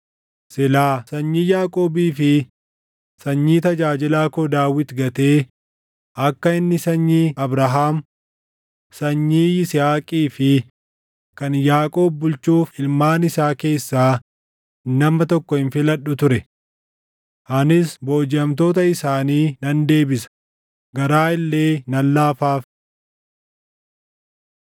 silaa sanyii Yaaqoobii fi sanyii tajaajilaa koo Daawit gatee akka inni sanyii Abrahaam, sanyii Yisihaaqii fi kan Yaaqoob bulchuuf ilmaan isaa keessaa nama tokko hin filadhu ture. Anis boojiʼamtoota isaanii nan deebisa; garaa illee nan laafaaf.’ ”